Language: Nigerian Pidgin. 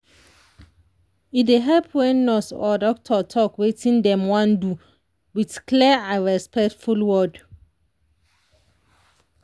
e dey help when nurse or doctor talk wetin dem wan do with clear and respectful word.